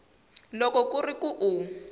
loko ku ri ku u